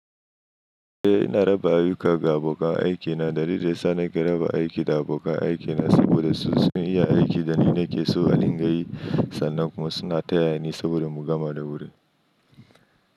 Eh ina raba ayyuka ga abokan aikina dalilin yasa nake raba aiki da abokan aikina saboda su iya aiki da ni nake so a ringayi sannan kuma suna taya ni saboda mu gama da wuri.